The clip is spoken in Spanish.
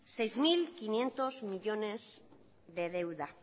seis mil quinientos millónes de deuda